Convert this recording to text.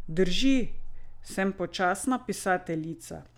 Drži, sem počasna pisateljica.